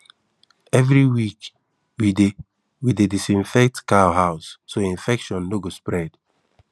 every week we dey we dey disinfect cow house so infection no go spread